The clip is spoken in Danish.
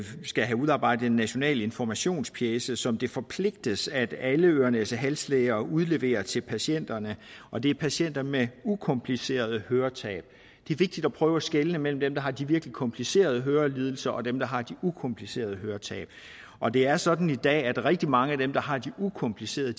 skal have udarbejdet en national informationspjece som det forpligtes at alle ørenæsehalslæger udleverer til patienterne og det er patienter med ukomplicerede høretab det er vigtigt at prøve at skelne mellem dem der har de virkelig komplicerede hørelidelser og dem der har de ukomplicerede høretab og det er sådan i dag at rigtig mange af dem der har de ukomplicerede